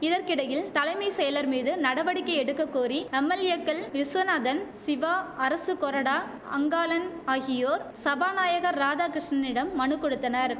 இதற்கிடையில் தலைமை செயலர் மீது நடவடிக்கை எடுக்க கோரி எம்எல்ஏக்கள் விசுவநாதன் சிவா அரசு கொறடா அங்காளன் ஆகியோர் சபாநாயகர் ராதாகிருஷ்ணனிடம் மனு கொடுத்தனர்